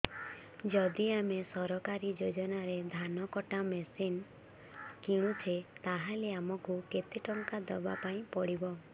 ଯଦି ଆମେ ସରକାରୀ ଯୋଜନାରେ ଧାନ କଟା ମେସିନ୍ କିଣୁଛେ ତାହାଲେ ଆମକୁ କେତେ ଟଙ୍କା ଦବାପାଇଁ ପଡିବ